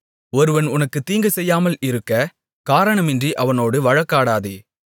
ஒருவன் உனக்குத் தீங்குசெய்யாமல் இருக்க காரணமின்றி அவனோடு வழக்காடாதே